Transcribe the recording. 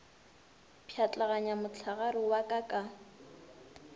pšhatlaganya mohlagare wa ka ka